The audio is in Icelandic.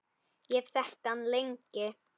Ég hef þekkt hann lengi.